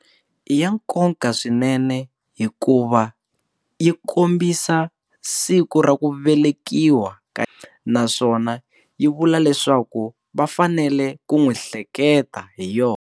I ya nkoka swinene hikuva yi kombisa siku ra ku velekiwa ka naswona yi vula leswaku vafanele ku n'wi hleketa hi yona.